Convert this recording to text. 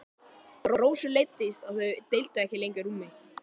Rósu leiddist að þau deildu ekki lengur rúmi.